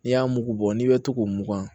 N'i y'a mugu bɔ n'i bɛ to k'o mugan